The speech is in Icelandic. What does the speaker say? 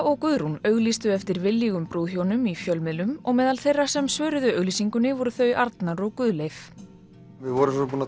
og Guðrún auglýstu eftir viljugum brúðhjónum í fjölmiðlum og meðal þeirra sem svöruðu auglýsingunni voru þau Arnar og Guðleif við vorum búin að